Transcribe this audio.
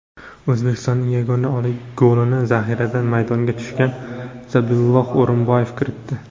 O‘zbekistonning yagona golini zaxiradan maydonga tushgan Zabihullo O‘rinboyev kiritdi.